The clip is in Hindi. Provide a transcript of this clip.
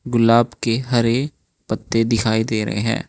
गुलाब के हरे पत्ते दिखाई दे रहे हैं।